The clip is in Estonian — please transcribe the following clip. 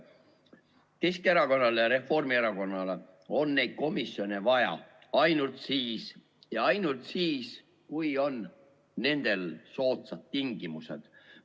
Keskerakonnale ja Reformierakonnale on neid komisjone vaja siis ja ainult siis, kui on nendel soodsad tingimused.